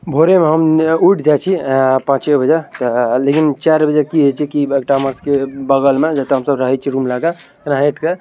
भोरे में हम उठ जाए छी पाँचे बजे लेकिन चार बजे की छे इता मार के बगल में जेता हमए रहे छे रूम लागे रहेट के --